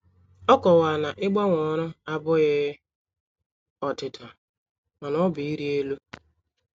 Ọ kowara na ịgbanwe ọrụ abụghị ọdịda, mana ọ bụ ịrị elu.